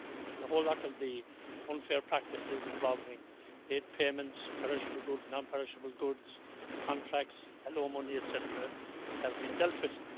The whole lot of the unfair practices, involving aid payments, perishable goods, non perishable goods, contracts, hello money', etcetera, have been dealt with.